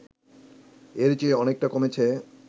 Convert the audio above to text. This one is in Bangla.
এর চেয়ে অনেকটা কমেছে